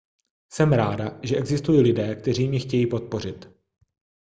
jsem ráda že existují lidé kteří mě chtějí podpořit